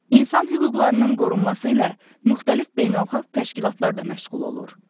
İnsan hüquqlarının qorunması ilə müxtəlif beynəlxalq təşkilatlar da məşğul olur.